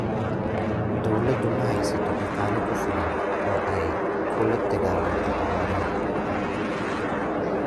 Dawladdu ma haysato dhaqaale ku filan oo ay kula dagaalanto abaaraha.